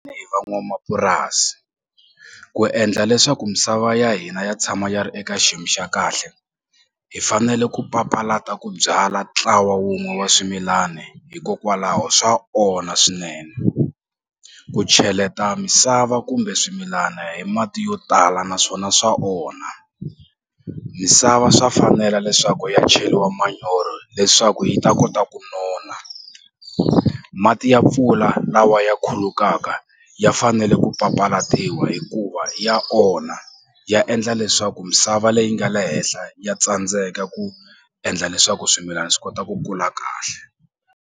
van'wamapurasi ku endla leswaku misava ya hina ya tshama ya ri eka xiyimo xa kahle hi fanele ku papalata ku byala ntlawa wun'we wa swimilani hikokwalaho swa onha swinene ku cheleta misava kumbe swimilana hi mati yo tala naswona swa onha misava swa fanela leswaku ya cheliwa manyoro leswaku yi ta kota ku nona mati ya mpfula lawa ya khulukaka ya fanele ku papalatiwa hikuva ya onha ya endla leswaku misava leyi nga le henhla ya tsandzeka ku endla leswaku swimilana swi kota ku kula kahle.